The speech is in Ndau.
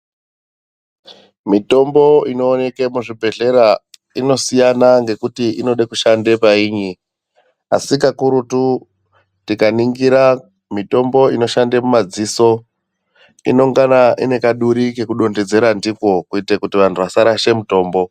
Mitombo inooneke muzvibhedhlera inosiyana ngekuti inode kushande painyi. Asi kakurutu tikaningira mitombo inoshande mumadziso inongana ine kaduri kekutontedzera ndiko kuitire kuti vantu vasarashe mutombo.